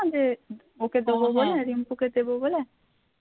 ওকে দেবো বলে আর রিম্পুকে দেবো বলে?